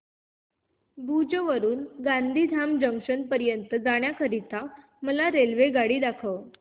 भुज वरून गांधीधाम जंक्शन जाण्या करीता मला रेल्वे दाखवा